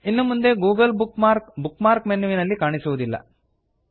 ಇನ್ನು ಮುಂದೆ Google bookmark bookmark ಮೆನ್ಯುವಿನಲ್ಲಿ ಕಾಣಸಿಗುವುದಿಲ್ಲ